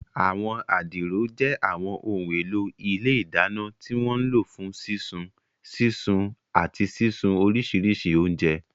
Àwọn adiro jẹ́ àwọn ohun èlò ilé ìdáná tí wọ́n ń lò fún sísun, sísun, àti sísun oríṣiríṣi oúnjẹ.